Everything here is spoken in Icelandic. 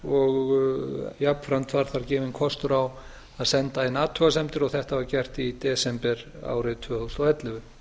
og jafnframt var þar gefinn kostur á að senda inn athugasemdir þetta var gert í desember árið tvö þúsund og ellefu